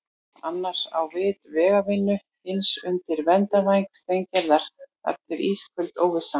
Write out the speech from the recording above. Annar á vit vegavinnu, hinn undir verndarvæng Steingerðar- þar til ísköld óvissan.